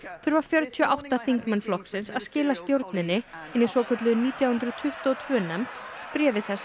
þurfa fjörutíu og átta þingmenn flokksins að skila stjórninni hinni nítján hundruð tuttugu og tvö nefnd bréfi þess